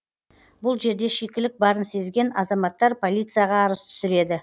бұл жерде шикілік барын сезген азаматтар полицияға арыз түсіреді